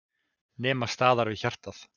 Nema staðar við hjartað.